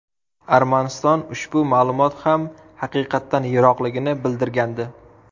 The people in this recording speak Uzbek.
Armaniston ushbu ma’lumot ham haqiqatdan yiroqligini bildirgandi.